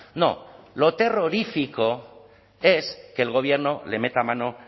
no lo terrorífico es que el gobierno le meta mano